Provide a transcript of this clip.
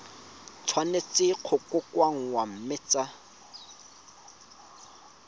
tshwanetse go kokoanngwa mme tsa